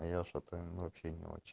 я что-то вообще не очень